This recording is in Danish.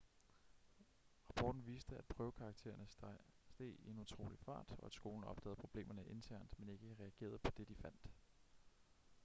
rapporten viste at prøvekaraktererne steg i en utrolig fart og at skolen opdagede problemerne internt men ikke reagerede på det de fandt